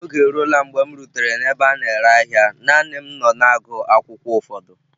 Oge eruola m mgbe m rutere n'ebe a na-ere ahịa, naanị m nọ na-agụ akwụkwọ ụfọdụ